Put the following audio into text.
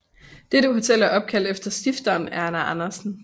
Dette hotel er opkaldt efter stifteren Erna Andersen